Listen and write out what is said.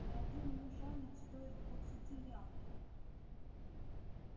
да один южанин стоит двадцати янки